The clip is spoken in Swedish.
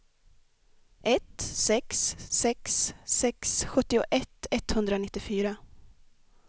ett sex sex sex sjuttioett etthundranittiofyra